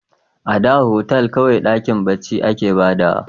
A da otal kawai dakin barci a ke ba da wa